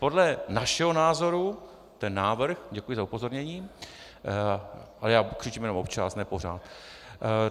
Podle našeho názoru ten návrh - děkuji za upozornění, ale já křičím jenom občas, ne pořád.